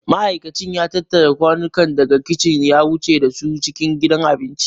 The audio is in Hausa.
Ma'aikacin ya tattara kwanukan daga kicin ya wuce da su cikin gidan abinci.